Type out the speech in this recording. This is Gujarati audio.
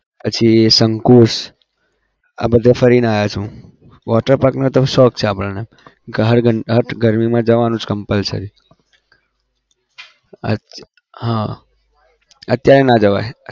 પછી શંકુ આ બધે ફરીને આવ્યો છું હું water park નો તો શોખ છે આપણને ગરમીમાં જવાનું જ compulsory અચ્ હા અત્યારે ના જવાય